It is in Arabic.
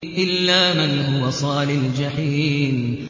إِلَّا مَنْ هُوَ صَالِ الْجَحِيمِ